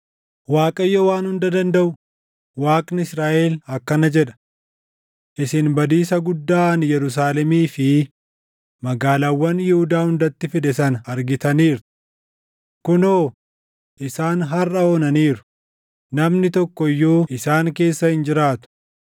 “ Waaqayyo Waan Hunda Dandaʼu, Waaqni Israaʼel akkana jedha: Isin badiisa guddaa ani Yerusaalemii fi magaalaawwan Yihuudaa hundatti fide sana argitaniirtu. Kunoo, isaan harʼa onaniiru; namni tokko iyyuu isaan keessa hin jiraatu;